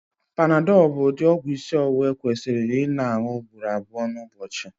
panadol bụ ụdị ọgwụ isi ọwụwa ekwesịrị ịna añu ugboro abụọ n'ụbọchị